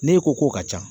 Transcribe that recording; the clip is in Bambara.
Ne ko k'o ka ca